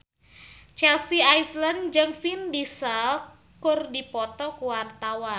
Chelsea Islan jeung Vin Diesel keur dipoto ku wartawan